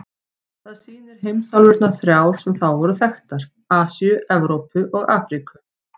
Það sýnir heimsálfurnar þrjár sem þá voru þekktar: Asíu, Evrópu og Afríku.